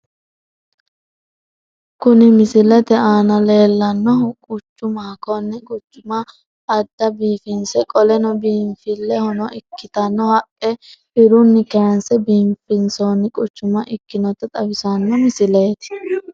Kuni misilete aana leellannohu quchumaho konne quchuma adfa biifinse qoleno biinfilehono ikkitanno haqqe dirunni kaaynse biifinsoonni quchuma ikkinota xawissanno misileeti.